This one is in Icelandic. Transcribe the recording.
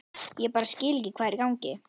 Ég bara skil ekki hvað er í gangi.